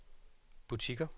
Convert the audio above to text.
butikker